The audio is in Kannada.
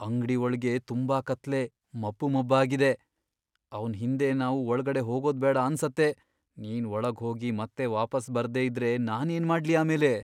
ಅಂಗ್ಡಿ ಒಳ್ಗೆ ತುಂಬಾ ಕತ್ಲೆ, ಮಬ್ಬು ಮಬ್ಬಾಗಿದೆ. ಅವ್ನ್ ಹಿಂದೆ ನಾವು ಒಳ್ಗಡೆ ಹೋಗೋದ್ಬೇಡ ಅನ್ಸತ್ತೆ. ನೀನ್ ಒಳಗ್ ಹೋಗಿ ಮತ್ತೆ ವಾಪಸ್ ಬರ್ದೇ ಇದ್ರೆ ನಾನೇನ್ ಮಾಡ್ಲಿ ಆಮೇಲೆ?!